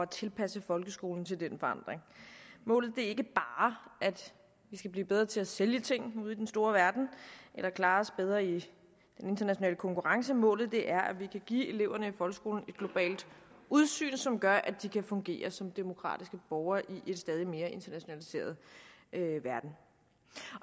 tilpasse folkeskolen til den forandring målet er ikke bare at vi skal blive bedre til at sælge ting ude i den store verden eller klare os bedre i den internationale konkurrence målet er at vi kan give eleverne i folkeskolen et globalt udsyn som gør at de kan fungere som demokratiske borgere i en stadig mere internationaliseret verden